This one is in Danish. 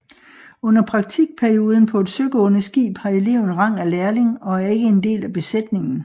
Under praktikperioden på et søgående skib har eleven rang af lærling og er ikke en del af besætningen